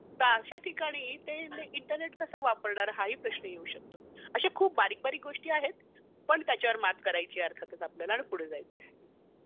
तर अशा ठिकाणी इंटरनेट कसं वापरणार हा ही प्रश्न येऊ शकतो. असे खूप बारीक बारीक प्रश्न आहेत पण त्याच्यावर मात करायची आहे अर्थातच आपल्याला आणि पुढे जायचं आहे.